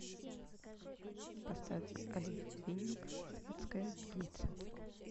поставь олег винник светская львица